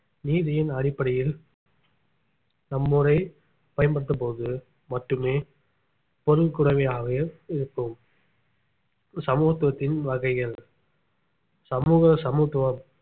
நீதியின் அடிப்படையில் நம்மூரை பயன்படுத்தும்போது மட்டுமே பொருள் இருக்கும் சமத்துவத்தின் வகைகள் சமூக சமத்துவம்